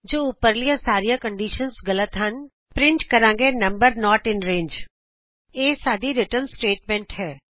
ਜੇ ਉਪਰਲੀਆਂ ਸਾਰੀਆਂ ਕੰਡੀਸ਼ਨਸ ਗਲਤ ਹਨ ਅਸੀਂ ਪਰਿੰਟ ਕਰਾਂਗੇ ਨੰਬਰ ਨੋਟ ਇਨ ਰੰਗੇ ਇਹ ਸਾਡੀ ਰਿਟਰਨ ਸਟੇਟਮੈਂਟ ਹੈ